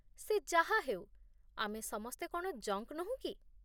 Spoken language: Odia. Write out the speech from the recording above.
ସେ ଯାହାହେଉ, ଆମେ ସମସ୍ତେ କ'ଣ ଜଙ୍କ୍ ନୋହୁଁ କି?